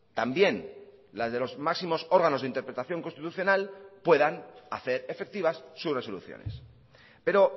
también las de los máximos órganos de interpretación constitucional puedan hacer efectivas sus resoluciones pero